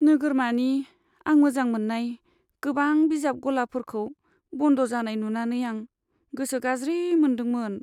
नोगोरमानि आं मोजां मोन्नाय गोबां बिजाब गलाफोरखौ बन्द जानाय नुंनानै आं गोसो गाज्रि मोनदोंमोन।